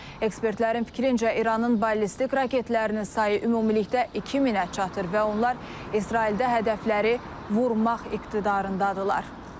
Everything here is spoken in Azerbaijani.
Ekspertlərin fikrincə, İranın ballistik raketlərinin sayı ümumilikdə 2000-ə çatır və onlar İsraildə hədəfləri vurmaq iqtidarındadırlar.